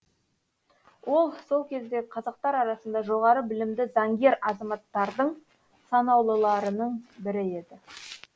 ол сол кездегі қазақтар арасында жоғары білімді заңгер азаматтардың санаулыларының бірі еді